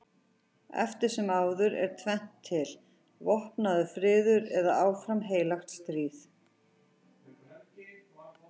Eftir sem áður er tvennt til: vopnaður friður eða áfram heilagt stríð.